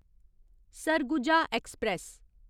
Surguja express